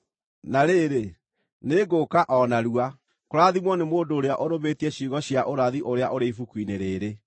“Na rĩrĩ, nĩngũũka o narua! Kũrathimwo nĩ mũndũ ũrĩa ũrũmĩtie ciugo cia ũrathi ũrĩa ũrĩ ibuku-inĩ rĩĩrĩ.”